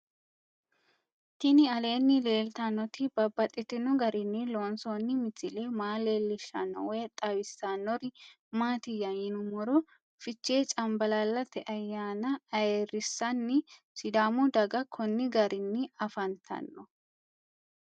Tinni aleenni leelittannotti babaxxittinno garinni loonsoonni misile maa leelishshanno woy xawisannori maattiya yinummoro fichche canbaallallatte ayaanna ayiirisanni sidaamu daga konni garinni afanttanno